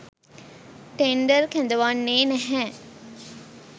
Tender කැඳවන්නේ නැහැ.